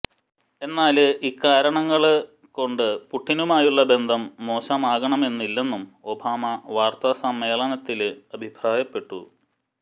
എന്നാല് ഇക്കാരണങ്ങള്ക്കൊണ്ട പുടിനുമായുള്ള ബന്ധം മോശമാകണമെന്നില്ലെന്നും ഒബാമ വാര്ത്താസമ്മേളനത്തില് അഭിപ്രായപ്പെട്ടു